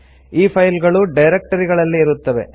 ಈ ಫೈಲ್ಸ್ ಗಳು ಡೈರೆಕ್ಟರಿ ಗಳಲ್ಲಿ ಇರುತ್ತವೆ